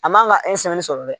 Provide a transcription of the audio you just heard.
A man ga e sɛni sɔrɔ dɛ